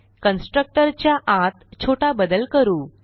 constructor च्या आत छोटा बदल करू